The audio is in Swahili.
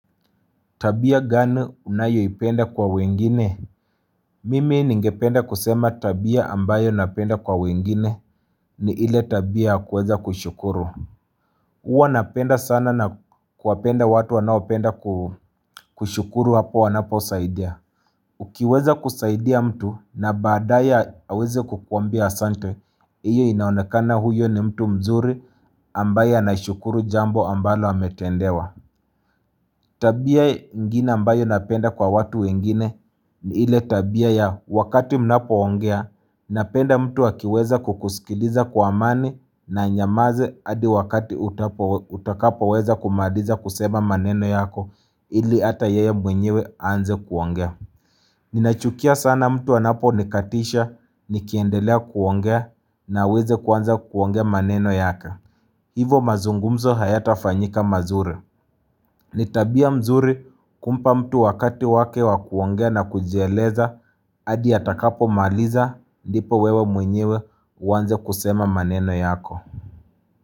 Tabia gani unayo ipenda kwa wengine? Mimi ningependa kusema tabia ambayo napenda kwa wengine ni ile tabia kuweza kushukuru. Uwa napenda sana na kuwapenda watu wanao penda kushukuru hapo wanapo saidia. Ukiweza kusaidia mtu na badaye aweze kukuambia asante. Iyo inaonekana huyo ni mtu mzuri ambaye anashukuru jambo ambalo ametendewa. Tabia ingine ambayo napenda kwa watu wengine ni ile tabia ya wakati mnapo ongea napenda mtu akiweza kukusikiliza kwa amani na anyamaze hadi wakati utakapo weza kumaliza kusema maneno yako ili ata yeye mwenyewe aanze kuongea. Ninachukia sana mtu anapo nikatisha nikiendelea kuongea na aweze kuanza kuongea maneno yake. Hivo mazungumzo haya tafanyika mazuri. Ni tabia nzuri kumpa mtu wakati wake wakuongea na kujieleza, adi atakapo maliza ndipo wewe mwenyewe uwanze kusema maneno yako.